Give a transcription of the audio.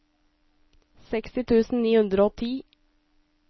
seksti tusen ni hundre og ti